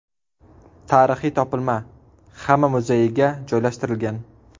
Tarixiy topilma Xama muzeyiga joylashtirilgan.